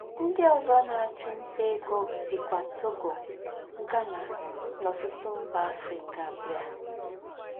Ndí́ ózọ́ nà-àchụ́ ntá égó síkwà Togo, Ghana, nà ọ̀tútù mbà Áfríkà bíá